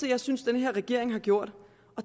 jeg synes den her regering har gjort